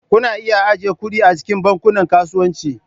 Kuna iya ajiye kuɗi a cikin Bankunan Kasuwanci.